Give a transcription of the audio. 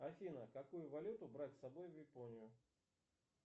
афина какую валюту брать с собой в японию